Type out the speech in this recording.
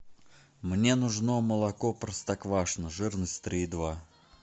мне нужно молоко простоквашино жирность три и два